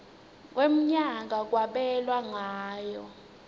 wemnyaka kwabelwa ngayo